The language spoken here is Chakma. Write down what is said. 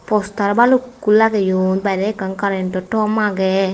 postar balukkun lageyon barey ekkan karento tom agey.